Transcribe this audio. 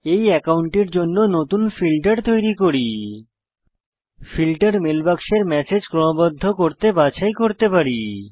এই মেল অ্যাকাউন্টের জন্য নতুন ফিল্টার তৈরী করি ফিল্টার মেল বাক্সের ম্যাসেজ ক্রমবদ্ধ করতে বাছাই করতে পারি